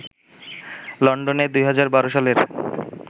লন্ডনে ২০১২ সালের